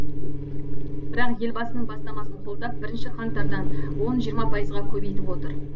бірақ елбасының бастамасын қолдап бірінші қаңтардан он жиырма пайызға көбейтіп отыр